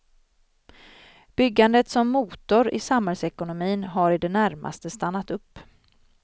Byggandet som motor i samhällsekonomin har i det närmaste stannat upp.